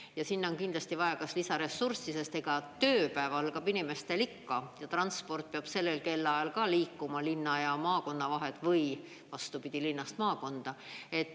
Ja sinna on kindlasti vaja kas lisaressurssi, sest ega tööpäev algab inimestel ikka ja transport peab sellel kellaajal ka liikuma linna ja maakonna vahel või vastupidi, linnast maakonda.